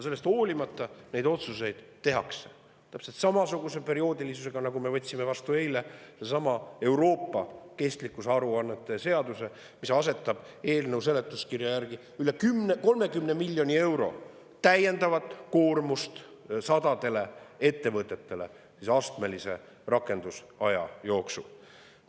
Sellest hoolimata tehakse neid otsuseid täpselt samasuguse perioodilisusega, nagu eile, kui me võtsime üle Euroopa kestlikkusaruannete, mille seletuskirja järgi asetatakse astmelise rakendusaja jooksul sadadele ettevõtetele juurde üle 30 miljoni euro täiendavat koormust.